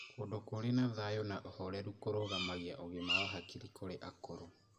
Kũndũ kũrĩ na thayo na ũhoreru kũrũgamagia ũgima wa hakiri kũrĩ akũrũ.